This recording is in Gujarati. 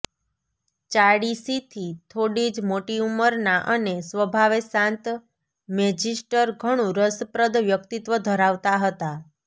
ચાળીસીથી થોડી જ મોટી ઊંમરના અને સ્વભાવે શાંત મેજિસ્ટર ઘણું રસપ્રદ વ્યક્તિત્વ ધરાવતા હતા